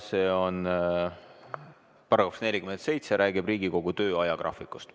See on § 47, mis räägib Riigikogu töö ajagraafikust.